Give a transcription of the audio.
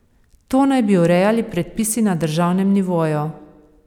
To naj bi urejali predpisi na državnem nivoju.